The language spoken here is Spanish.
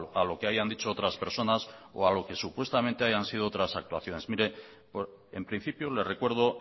a lo que hayan dicho otras personas o a lo que supuestamente hayan sido otras actuaciones mire en principio le recuerdo